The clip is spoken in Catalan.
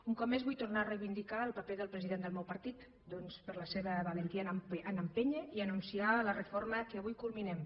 un cop més vull tornar a reivindicar el paper del president del meu partit doncs per la seva valentia a empènyer i anunciar la reforma que avui culminem